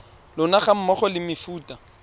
lona ga mmogo le mefuta